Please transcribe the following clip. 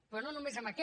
però no només en aquest